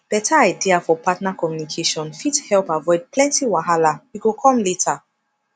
beta idea for partner communication fit help avoid plenty wahala we go come later